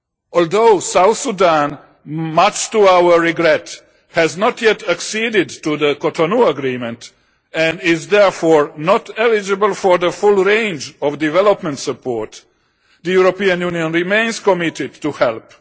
Although South Sudan, much to our regret, has not yet acceded to the Cotonou Agreement and is therefore not eligible for the full range of development support, the European Union remains committed to help.